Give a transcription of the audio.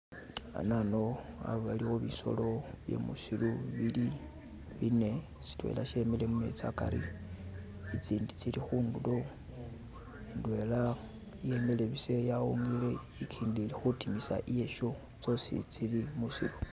Hanano haliwo bisolo bye musiru bili bine shidela shimile mumeezi hagari ni zindi zili kundulo indwela yimile busa yawungile gindi ili kudimisa iyakyo zosi zili mwusiru.